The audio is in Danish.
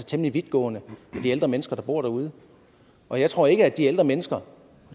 temmelig vidtgående for de ældre mennesker der bor derude og jeg tror ikke at de ældre mennesker